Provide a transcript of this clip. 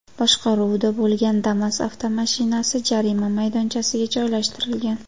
boshqaruvida bo‘lgan Damas avtomashinasi jarima maydonchasiga joylashtirilgan.